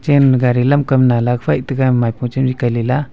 gari lam kam nalak faih taiga maipo chenri kail lela.